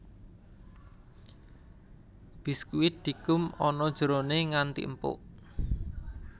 Biskuit dikum ana jerone nganti empuk